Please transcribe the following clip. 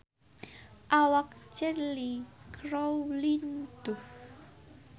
Awak Cheryl Crow lintuh